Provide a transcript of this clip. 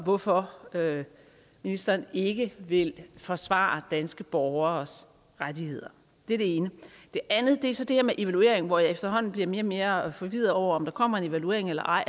hvorfor ministeren ikke vil forsvare danske borgeres rettigheder det er det ene det andet er så det her med en evaluering hvor jeg efterhånden bliver mere og mere forvirret over om der kommer en evaluering eller ej